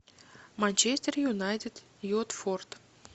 манчестер юнайтед уотфорд